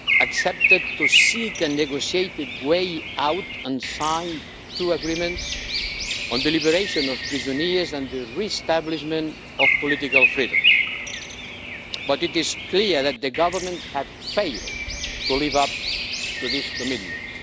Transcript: accepted to seek a negotiated way out and sign two agreements on the liberation of prisoners and the re-establishment of political freedoms. But it is clear that the government has failed to live up to these commitments.